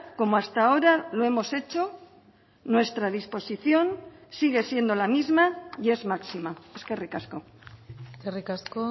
como hasta ahora lo hemos hecho nuestra disposición sigue siendo la misma y es máxima eskerrik asko eskerrik asko